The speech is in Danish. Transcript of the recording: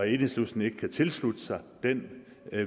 enhedslisten ikke kan tilslutte sig den